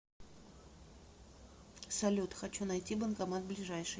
салют хочу найти банкомат ближайший